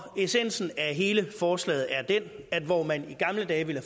essensen af hele forslaget er den at hvor man i gamle dage ville